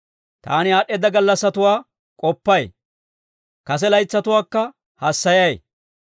Taani aad'd'eedda gallassatuwaa k'oppay; kase laytsatuwaakka hassayay.